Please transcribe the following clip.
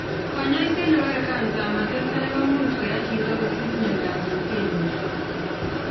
Konyoiset ne bore kansa ama testai komuch koyai chito kosich myondo ab leukemia